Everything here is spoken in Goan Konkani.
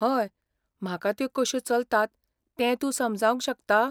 हय, म्हाका त्यो कश्यो चलतात तें तूं समजावंक शकता?